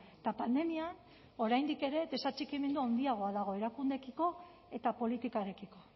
eta pandemian oraindik ere desatxikimendu handiagoa dago erakundeekiko eta politikarekiko